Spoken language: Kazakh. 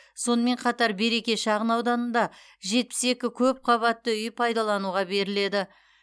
сонымен қатар береке шағын ауданында жетпіс екі көп қабатты үй пайдалануға беріледі